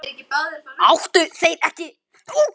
Áttu þeir ekki báðir að fá rautt?